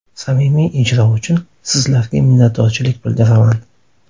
Samimiy ijro uchun sizlarga minnatdorchilik bildiraman!